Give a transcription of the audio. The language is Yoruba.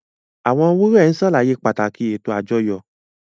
Àwọn wúrẹ́n ń ṣàlàyé pàtàkì ètò àjọyọ̀